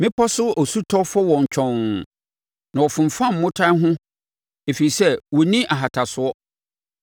Mmepɔ so osutɔ fɔ wɔn twɔnn na wɔfomfam mmotan no ho ɛfiri sɛ wɔnni ahatasoɔ.